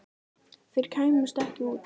Þeir kæmust ekki út.